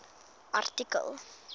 artikel